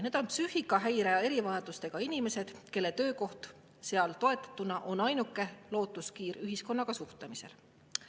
Need on psüühikahäirete ja erivajadustega inimesed, kellele toetatud töökoht on ainuke lootuskiir ühiskonnaga suhtlemiseks.